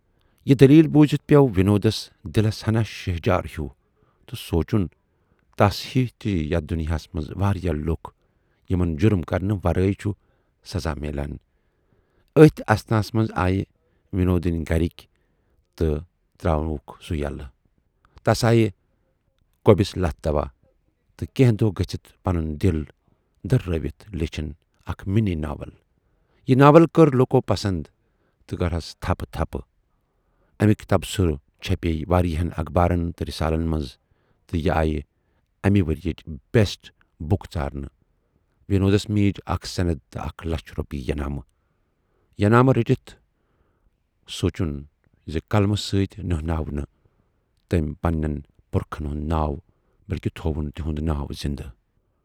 یہِ دٔلیٖل بوٗزِتھ پٮ۪و وِنودس دِلس ہَنا شیہجار ہیوٗ تہٕ سونچُن تَس ہِوِۍ چھِ یَتھ دُنیاہَس منز واریاہ لوٗکھ یِمن جُرم کرنہٕ ورٲے چھُ سزا میلان۔ ٲتھۍ اثناہَس منز آیہِ وِنودٕنۍ گرٕکۍ تہٕ تراونووُکھ سُہ یلہٕ۔ تَس آیہِ کوبِس لتھ دوا تہٕ کینہہ دۅہ گٔژھِتھ پنُن دِل دٔرٲوِتھ لیٖچھِن اکھ مِنی ناول۔ یہِ ناول کٔر لوٗکو پَسند تہٕ کٔرہَس تھپہٕ تھپہٕ۔ امٕکۍ تبصرٕ چھپے یہِ واریاہن اخبارن تہٕ رِسالن منز تہٕ یہِ آیہِ امہِ ؤرِیچ بیشٹ بُک ژارنہٕ وِنودس میٖج اکھ سند تہٕ اَکھ لچھ رۅپیہِ یَنامہٕ۔ یَنامہٕ رٔٹِتھ سونچُنپننہِ قلمہٕ سٍتۍ ناہنوو نہٕ تمٔۍ پنہٕ نٮ۪ن پُرکھن ہُند ناو بٔلۍکہِ تھووُن تِہُند ناو زِندٕ۔